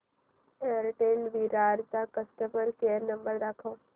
Airtel Virar चा customer care number दाखव